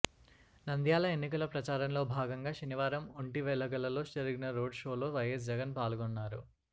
నంద్యాల ఎన్నికల ప్రచారంలో భాగంగా శనివారం ఒంటివెలగలలో జరిగిన రోడ్ షోలో వైఎస్ జగన్ పాల్గొన్నారు